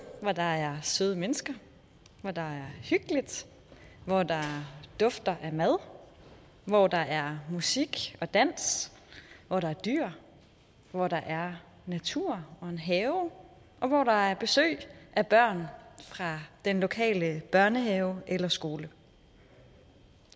hvor der er søde mennesker hvor der er hyggeligt hvor der dufter af mad hvor der er musik og dans hvor der er dyr hvor der er natur og en have og hvor der er besøg af børn fra den lokale børnehave eller skole